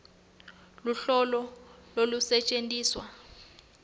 luhlolo lolusetjentiswa